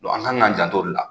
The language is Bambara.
an kan k'an janto o de la